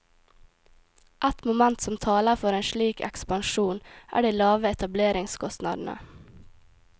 Et moment som taler for en slik ekspansjon er de lave etableringskostnadene.